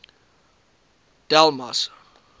delmas